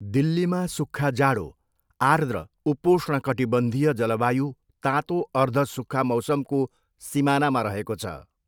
दिल्लीमा सुख्खा जाडो, आर्द्र उपोष्णकटिबंधीय जलवायु तातो अर्ध सुख्खा मौसमको सिमानामा रहेको छ।